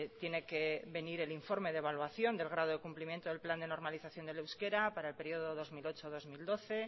tiene que venir el informe de evaluación del grado de cumplimiento del plan de normalización del euskera para el periodo dos mil ocho dos mil doce